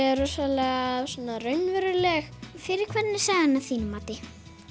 er rosalega raunveruleg fyrir hvern er sagan að þínu mati